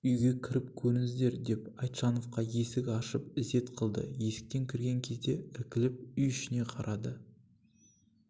үйге кіріп көріңіздер деп айтжановқа есік ашып ізет қылды есіктен кірген кезде іркіліп үй ішіне қарады